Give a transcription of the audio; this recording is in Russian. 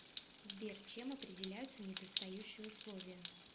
сбер чем определяются недостающие условия